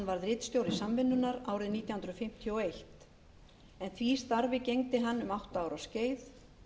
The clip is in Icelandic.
ritstjóri samvinnunnar árið nítján hundruð fimmtíu og eitt en því starfi gegndi hann um átta ára skeið